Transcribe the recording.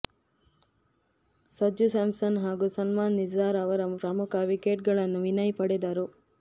Sanju Samson ಹಾಗೂ ಸಲ್ಮಾನ್ ನಿಜಾರ್ ಅವರ ಪ್ರಮುಖ ವಿಕೆಟ್ಗಳನ್ನು ವಿನಯ್ ಪಡೆದರು